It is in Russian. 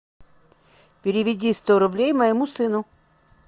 переведи сто рублей моему сыну